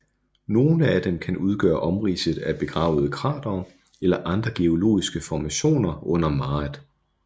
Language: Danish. Nogle af dem kan udgøre omridset af begravede kratere eller andre geologiske formationer under maret